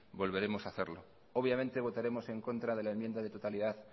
volveremos hacerlo obviamente votaremos en contra de la enmienda de totalidad